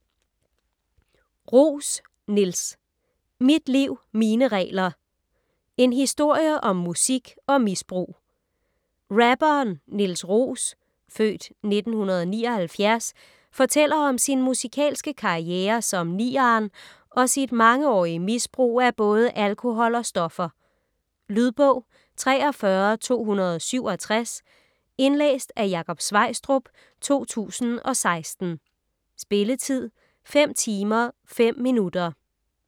Roos, Niels: Mit liv, mine regler: en historie om musik og misbrug Rapperen Niels Roos (f. 1979) fortæller om sin musikalske karriere som Niarn og sit mangeårige misbrug af både alkohol og stoffer. Lydbog 43267 Indlæst af Jakob Sveistrup, 2016. Spilletid: 5 timer, 5 minutter.